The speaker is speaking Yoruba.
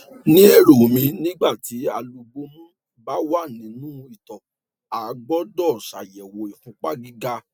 ní èrò mi nígbà tí àlúbọmù bá wà nínú ìtọ a gbọdọ ṣàyẹwò ìfúnpá gíga